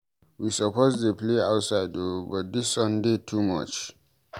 We suppose dey play outside o but di sun dey too much.